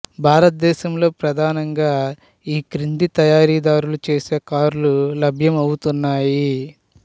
భారతదేశంలో ప్రధానంగా ఈ క్రింది తయారీదారులు చేసే కార్లు లభ్యం అవుతున్నాయి